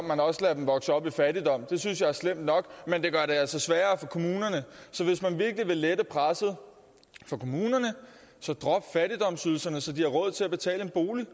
man også lader dem vokse op i fattigdom det synes jeg er slemt nok men det gør det altså sværere for kommunerne så hvis man virkelig vil lette presset for kommunerne så drop fattigdomsydelserne så de har råd til at betale en bolig